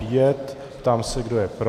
Ptám se, kdo je pro.